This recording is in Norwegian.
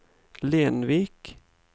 Lenvik